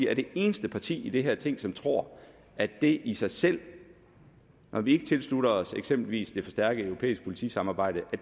er det eneste parti i det her ting som tror at det i sig selv når vi ikke tilslutter os eksempelvis det forstærkede europæiske politisamarbejde